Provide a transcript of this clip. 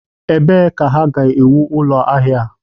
Ebee ka ha ga-ewu ụlọ ahịa a?